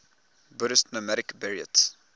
buddhist nomadic buryats